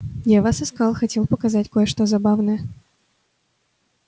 я вас искал хотел показать кое-что забавное